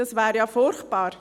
Das wäre ja furchtbar.